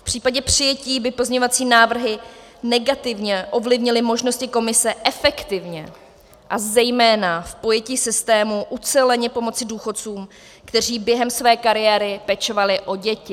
V případě přijetí by pozměňovací návrhy negativně ovlivnily možnosti komise efektivně a zejména v pojetí systému uceleně pomoci důchodcům, kteří během své kariéry pečovali o děti.